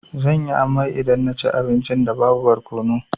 Zan yi amai idan na ci abincin da babu barkono.